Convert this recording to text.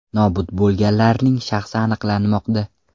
Nobud bo‘lganlarning shaxsi aniqlanmoqda.